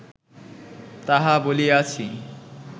তাহা বলিয়াছি